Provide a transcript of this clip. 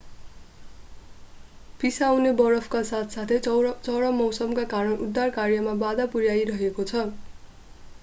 पिसाउने बरफका साथसाथै चरम मौसमका कारण उद्धार कार्यमा बाधा पुर्‍याइरहेको छ।